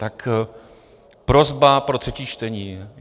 Tak prosba pro třetí čtení: